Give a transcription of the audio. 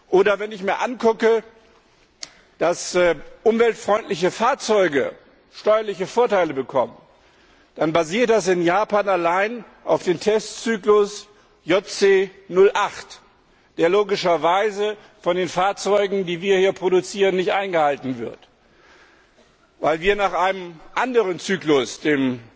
Oder wenn ich mir ansehe, dass umweltfreundliche Fahrzeuge steuerliche Vorteile bekommen, dann basiert das in Japan allein auf dem Testzyklus JC08, der logischerweise von den Fahrzeugen, die wir hier produzieren, nicht eingehalten wird, weil wir nach einem anderen Zyklus,